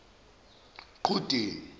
qhudeni